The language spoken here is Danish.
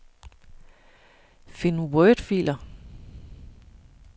Find wordfiler.